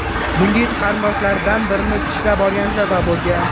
Bunga it qarindoshlaridan birini tishlab olgani sabab bo‘lgan.